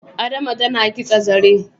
Adama tana kitsa zare